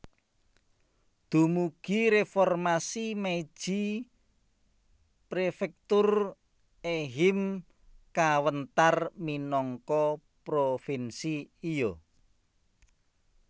Dumugi Reformasi Meiji Prefektur Ehime kawéntar minangka Provinsi Iyo